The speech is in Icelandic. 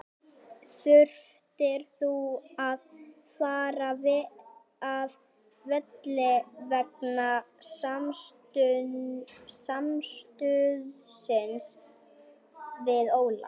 Þurftir þú að fara af velli vegna samstuðsins við Ólaf?